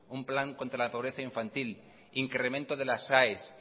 un plan contra la pobreza infantil incremento de las aes